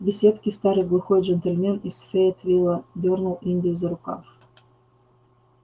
в беседке старый глухой джентльмен из фейетвилла дёрнул индию за рукав